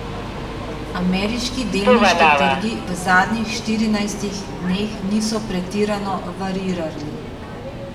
Ameriški delniški trgi v zadnjih štirinajstih dneh niso pretirano variirali.